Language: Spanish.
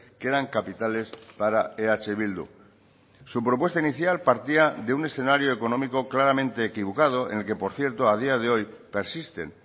que eran capitales para eh bildu su propuesta inicial partía de un escenario económico claramente equivocado en el que por cierto a día de hoy persisten